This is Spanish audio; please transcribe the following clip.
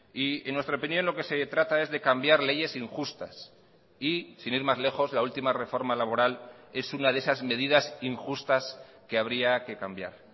y en nuestra opinión lo que se trata es de cambiar leyes injustas y sin ir más lejos la última reforma laboral es una de esas medidas injustas que habría que cambiar